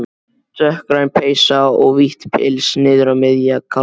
Dökkgræn peysa og vítt pils niður á miðja kálfa.